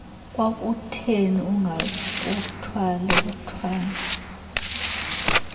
kwakutheni angakuthwali uthwalwe